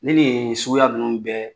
Ni nin suguya ninnu bɛɛ